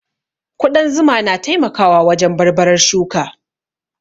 Ƙudan zuma na taimakawa wajen barbarar shuka